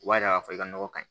U b'a yira k'a fɔ i ka nɔgɔ kaɲi